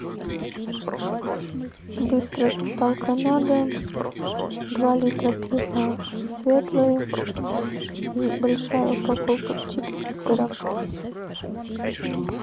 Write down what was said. быстрая доставка на дом два литра пива светлое и большая упаковка чипсы с сыром